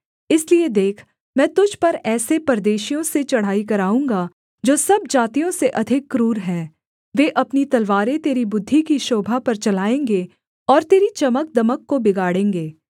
इसलिए देख मैं तुझ पर ऐसे परदेशियों से चढ़ाई कराऊँगा जो सब जातियों से अधिक क्रूर हैं वे अपनी तलवारें तेरी बुद्धि की शोभा पर चलाएँगे और तेरी चमकदमक को बिगाड़ेंगे